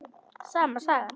Sama sagan.